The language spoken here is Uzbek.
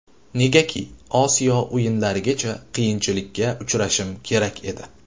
Negaki Osiyo o‘yinlarigacha qiyinchilikka uchrashim kerak edi.